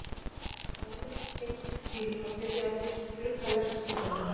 Áðuren við gengum til hvílu var byrjað að byrgja glugga lestarinnar.